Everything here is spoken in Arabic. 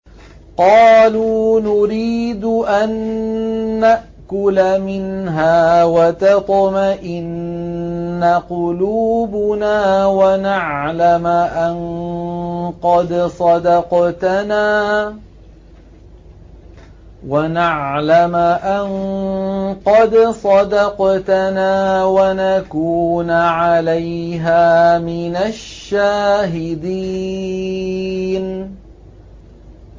قَالُوا نُرِيدُ أَن نَّأْكُلَ مِنْهَا وَتَطْمَئِنَّ قُلُوبُنَا وَنَعْلَمَ أَن قَدْ صَدَقْتَنَا وَنَكُونَ عَلَيْهَا مِنَ الشَّاهِدِينَ